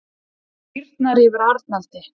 Það hýrnar yfir Arnaldi.